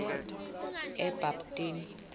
ebabtini